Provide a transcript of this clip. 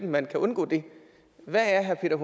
man kan undgå det hvad er herre